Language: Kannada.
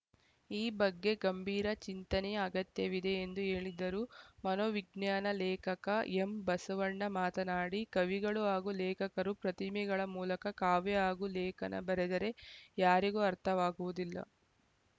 ಈ ಬಗ್ಗೆ ಗಂಭೀರ ಚಿಂತನೆಯ ಅಗತ್ಯವಿದೆ ಎಂದು ಹೇಳಿದರು ಮನೋವಿಜ್ಞಾನ ಲೇಖಕ ಎಂಬಸವಣ್ಣ ಮಾತನಾಡಿ ಕವಿಗಳು ಹಾಗೂ ಲೇಖಕರು ಪ್ರತಿಮೆಗಳ ಮೂಲಕ ಕಾವ್ಯ ಹಾಗೂ ಲೇಖನ ಬರೆದರೆ ಯಾರಿಗೂ ಅರ್ಥವಾಗುವುದಿಲ್ಲ